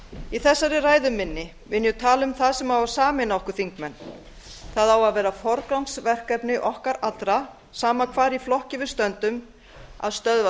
í þessari ræðu minni mun ég tala um það sem á að sameina okkur þingmenn það á að vera forgangsverkefni okkar allra sama hvar í flokki við stöndum að stöðva